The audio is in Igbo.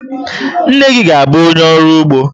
Nne gị ga-abụ onye ọrụ ugbo.